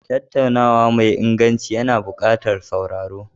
Tattaunawa mai inganci yana buƙatar sauraro.